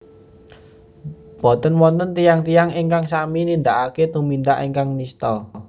Boten wonten tiyang tiyang ingkang sami nindakaken tumindak ingkang nistha